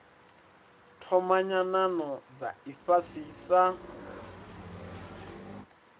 thoma nyanano dza ifhasi sa